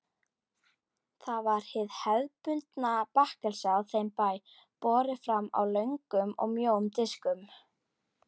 Það var hið hefðbundna bakkelsi á þeim bæ, borið fram á löngum og mjóum diskum.